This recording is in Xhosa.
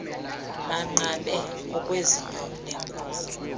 banqabe okwezinyo lenkuku